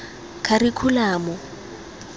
kharikhulamo